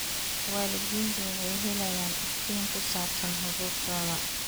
Waalidiintu waxay helayaan iftiin ku saabsan xuquuqdooda.